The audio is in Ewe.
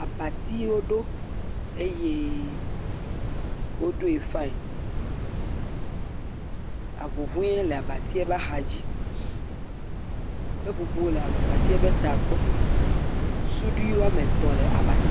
abati wó ɖó eye wó ɖoe faeŋ awuwoe le abatia ƒa xadzi seƒoƒo le abatie ƒe ta gbɔ suɖi woametɔ̃ le abatie dzí